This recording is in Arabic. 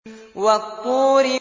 وَالطُّورِ